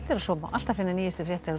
og svo má alltaf finna nýjustu fréttir á